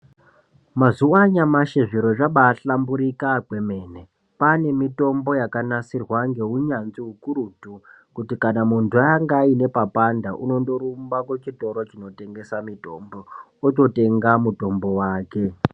Mazuwa anyamashi zviro zvaba hlamburika kwemene kwanemitombo yakanasirwa ngeunyanzvi hukurutu kuti kana muntu anga aine papanda unondorumba kuchitoro chinotengesa mitombo ototenga mutombo wake.